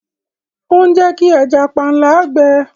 Ó ń Jẹ́ kí ẹja panla gbẹ.